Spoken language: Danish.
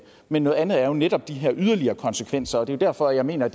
men noget andet er jo netop de her yderligere konsekvenser og det er derfor jeg mener